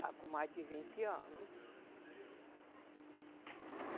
Está com mais de vinte anos.